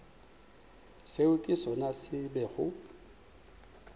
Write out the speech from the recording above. seo ke sona se bego